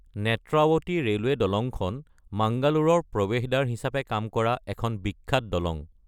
Netravati railway দলংখন মাংগালোৰৰ প্ৰৱেশদ্বাৰ হিচাপে কাম কৰা এখন বিখ্যাত দলং।